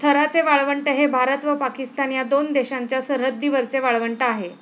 थराचे वाळवंट हे भारत व पाकिस्तान या दोन देशांच्या सरहद्दीवरचे वाळवंट आहे.